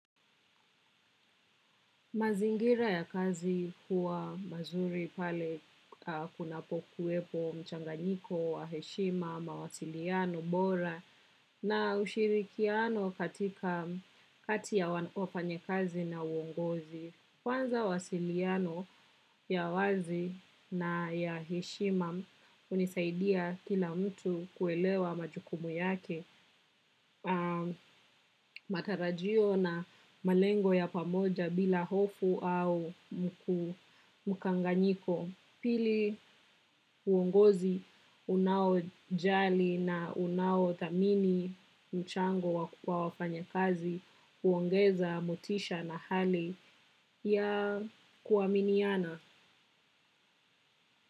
Mazingira ya kazi huwa mazuri pale kunapokuwepo mchanganyiko wa heshima, mawasiliano bora na ushirikiano kati ya wafanyakazi na uongozi. Kwanza mawasiliano ya wazi na ya heshima unisaidia kila mtu kuelewa majukumu yake matarajio na malengo ya pamoja bila hofu au mkanganyiko. Pili uongozi unaojali na unaothamini mchango wa wafanyakazi huongeza motisha na hali ya kuaminiana.